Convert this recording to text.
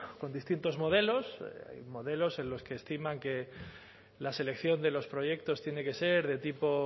con distintos modelos modelos en los que estiman que la selección de los proyectos tiene que ser de tipo